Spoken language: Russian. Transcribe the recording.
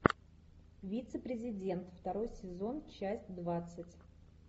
вице президент второй сезон часть двадцать